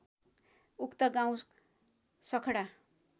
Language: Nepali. उक्त गाउँ सखडा